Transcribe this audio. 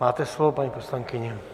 Máte slovo, paní poslankyně.